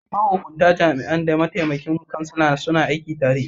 Mahukuntar jami'an da mataimakin kansila suna aiki tare.